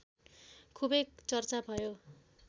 खुबै चर्चा भयो